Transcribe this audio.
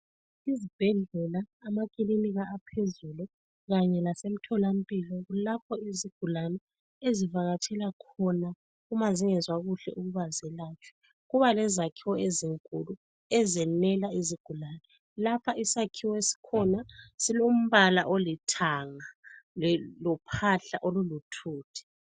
Izibhedlela, amakilinika aphezulu kanye lasemtholampilo kulapho izigulane ezivakatshela khona uma zingezwa kuhle ukuba zelatshwe. Kuba lezakhiwo ezinkulu ezenela izigulane. Lapha isakhiwo esikhona silombala olithanga lophahla olulithuthi.